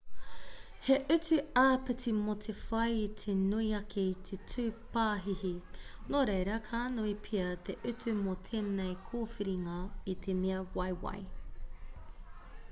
he utu āpiti mō te whai i te nui ake i te 2 pāhihi nō reira ka nui pea te utu mō tēnei kōwhiringa i te mea waiwai